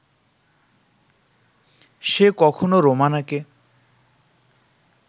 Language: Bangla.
সে কখনো রোমানাকে